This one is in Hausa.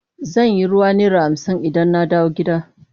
Zan sayi ruwa naira hamsin idan na dawo gida.